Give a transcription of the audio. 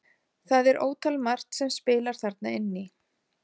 Það er ótal margt sem spilar þarna inn í.